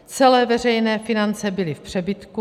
Celé veřejné finance byly v přebytku.